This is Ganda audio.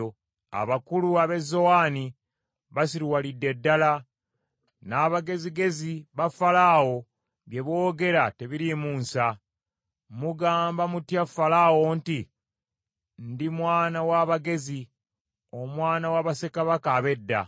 Abakulu ab’e Zowani basiruwalidde ddala, n’abagezigezi ba Falaawo bye boogera tebiriimu nsa. Mugamba mutya Falaawo nti, “Ndi mwana w’abagezi, omwana wa bassekabaka ab’edda”?